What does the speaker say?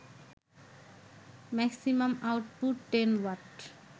maximum output ১০ watt